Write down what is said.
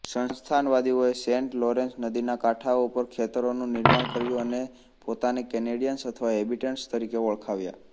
સંસ્થાનવાદીઓએ Saint Lawrence નદીના કાંઠાઓ પર ખેતરોનું નિર્માણ કર્યું અને પોતાને કેનેડીએન્સ અથવા હેબિટન્ટ્સતરીકે ઓળખાવ્યા